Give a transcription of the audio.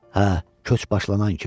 Hə, köç başlanan kimi.